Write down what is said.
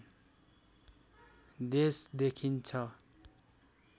देश देखिन्छ